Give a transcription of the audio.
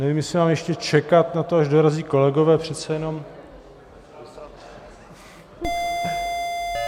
Nevím, jestli mám ještě čekat na to, až dorazí kolegové, přece jenom...